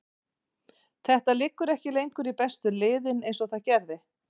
Þetta liggur ekki lengur í bestu liðin eins og það gerði.